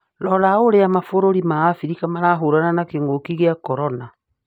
Rora uria mabũrũri ma Afrika marahũrana na kĩngũki kia corona